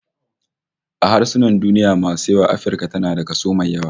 A harsunan duniya masu yawa Afirka tana da kaso mai yawa